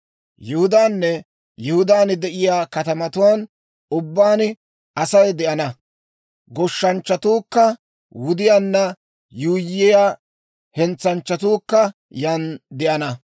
Yihudaanne Yihudaan de'iyaa katamatuwaan ubbaan Asay de'ana; goshshanchchatuukka wudiyaanna yuuyyiyaa hentsanchchatuukka yaan de'ana.